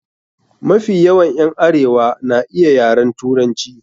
Mafi yawan ƴan arewa na iya yaren Turanci.